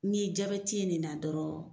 N'i ye ye nin na dɔrɔn